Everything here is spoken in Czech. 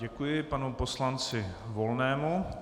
Děkuji panu poslanci Volnému.